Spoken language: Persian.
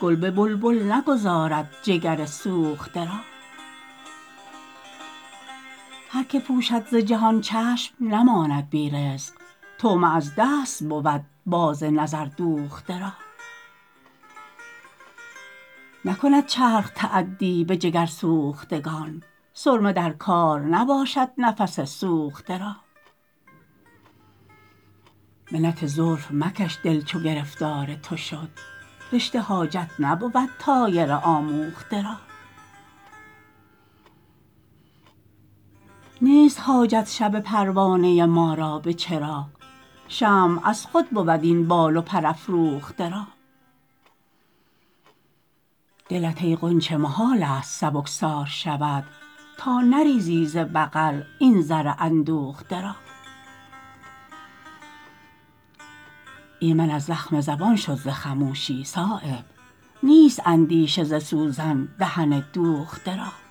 گل به بلبل نگذارد جگرسوخته را هر که پوشد ز جهان چشم نماند بی رزق طعمه از دست بود باز نظر دوخته را نکند چرخ تعدی به جگرسوختگان سرمه در کار نباشد نفس سوخته را منت زلف مکش دل چو گرفتار تو شد رشته حاجت نبود طایر آموخته را نیست حاجت شب پروانه ما را به چراغ شمع از خود بود این بال و پر افروخته را دلت ای غنچه محال است سبکبار شود تا نریزی ز بغل این زر اندوخته را ایمن از زخم زبان شد ز خموشی صایب نیست اندیشه ز سوزن دهن دوخته را